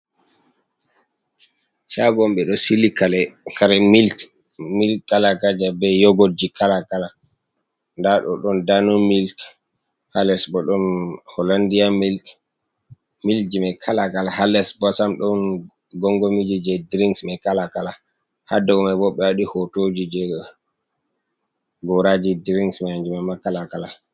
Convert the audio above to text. Shago on ɓeɗo sili kare, kare milik, milik kala-kala be yogot ji kala-kala. Nda ɗo, ɗon Dano milik ha les bo ɗon Holandia milik. Milik ji mai kala-kala ha les bo sam ɗon gongomi ji, je dirinks mai kala-kala. Ha dow mai bo ɓe waɗi hotoji je goraji drings mai kanjum mai ma kala-kala.